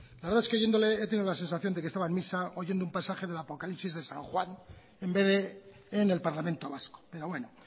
la verdad es que oyéndole he tenido la sensación de que estaba en misa oyendo un pasaje del apocalipsis de san juan en vez de en el parlamento vasco pero bueno